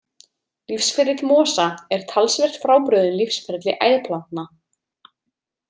Lífsferill mosa er talsvert frábrugðinn lífsferli æðplantna.